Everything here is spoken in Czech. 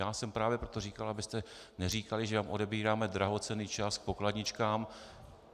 Já jsem právě proto říkal, abyste neříkali, že vám odebíráme drahocenný čas k pokladničkám.